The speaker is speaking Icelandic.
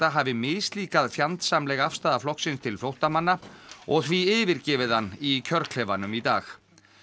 hafi mislíkað fjandsamleg afstaða flokksins til flóttamanna og því yfirgefið hann í kjörklefanum í dag